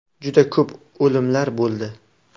Juda ko‘p o‘limlar bo‘ldi.